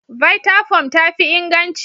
Vttafoam tafi inganci.